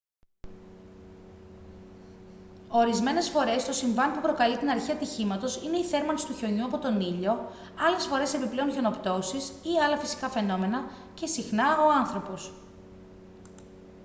ορισμένες φορές το συμβάν που προκαλεί την αρχή ατυχήματος είναι η θέρμανση του χιονιού από τον ήλιο άλλες φορές επιπλέον χιονοπτώσεις ή άλλα φυσικά φαινόμενα και συχνά ο άνθρωπος